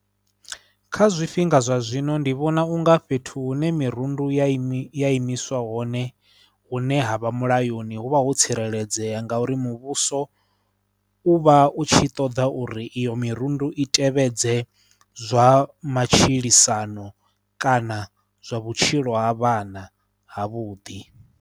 Kha zwifhinga zwa zwino ndi vhona u nga fhethu hune mirundu ya i mi, ya imiswa hone hune ha vha mulayoni hu vha ho tsireledzea ngauri muvhuso u vha u tshi ṱoḓa uri iyo mirundu i tevhedze zwa matshilisano kana zwa vhutshilo ha vhana havhuḓi.